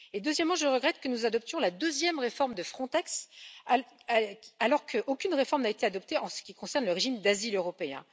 Deuxièmement, je regrette que nous adoptions la deuxième réforme de Frontex, alors qu'aucune réforme n'a été adoptée en ce qui concerne le régime d'asile européen.